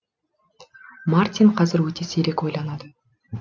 мартин қазір өте сирек ойланады